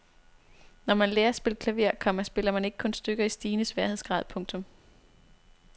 Når man lærer at spille klaver, komma spiller man ikke kun stykker i stigende sværhedsgrad. punktum